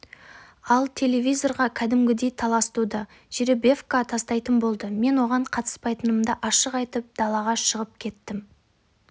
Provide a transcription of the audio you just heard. ал телевизорға кәдімгідей талас туды жеребевка тастайтын болды мен оған қатыспайтынымды ашық айтып далаға шығып кеттім